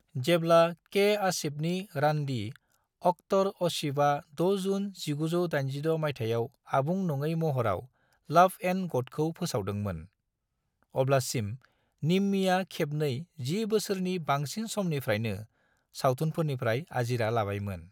जेब्ला के. आसिफनि रान्दि अख्तर आसिफआ 6 जुन 1986 मायथायाव आबुं नङै महराव लव एंड गडखौ फोसावदोंमोन, अब्लासिम निम्मीया खेबनै जि बोसोरनि बांसिन समनिफ्रायनो सावथुनफोरनिफ्राय आजिरा लाबायमोन।